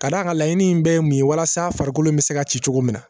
Ka d'a kan laɲini in bɛɛ ye mun ye walasa farikolo bɛ se ka ci cogo min na